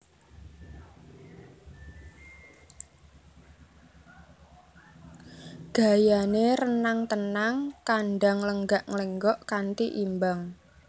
Gayané renang tenang kandang nglenggak nglenggok kanti imbang